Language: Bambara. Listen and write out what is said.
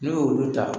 N'u y'olu ta